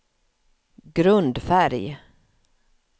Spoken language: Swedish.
grundfärg